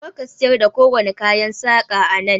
Kar ka siyar da kowane kayan saƙa a nan!